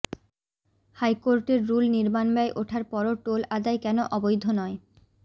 হাইকোর্টের রুল নির্মাণব্যয় ওঠার পরও টোল আদায় কেন অবৈধ নয়